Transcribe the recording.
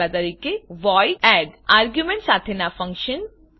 તvoid add argument સાથેનાં function દા